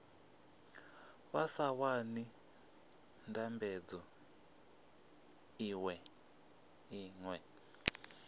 vha sa wani ndambedzo iṅwe